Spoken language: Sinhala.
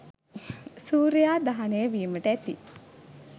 සූර්යයා දහනය වීමට ඇති